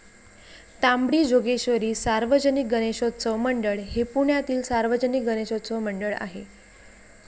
तांबडी जोगेश्वरी सार्वजनिक गणेशोत्सव मंडळ हे पुण्यातील सार्वजनिक गणेशोत्सव मंडळ आहे.